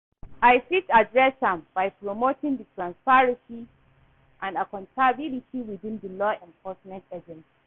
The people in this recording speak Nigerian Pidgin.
I fit adress am by promoting di transparency and accountability within di law enforcement agencies.